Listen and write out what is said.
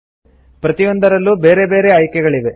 ಪ್ರತಿಯೊಂದರಲ್ಲೂ ಬೇರೆ ಬೇರೆ ಆಯ್ಕೆಗಳಿವೆ